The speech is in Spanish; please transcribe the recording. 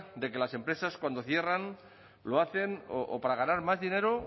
de que las empresas cuando cierran lo hacen o para ganar más dinero